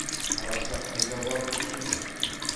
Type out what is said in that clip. қараша қайда барып құтылушы еді